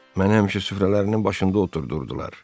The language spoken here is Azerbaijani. Məni həmişə süfrələrinin başında oturdurdular.